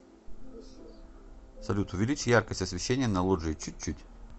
салют увеличь яркость освещения на лоджии чуть чуть